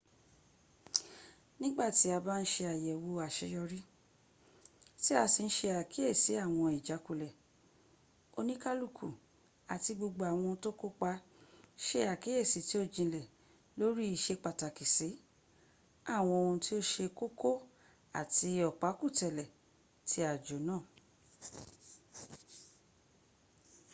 nigba ti aba n se ayewo aseyori ti a si n se akiesi awon ijakule onikaluku ati gbogbo awon to kopa se akiyesi ti o jinle lori isepataki si awon ohun ti o se koko ati opakutele ti ajo naa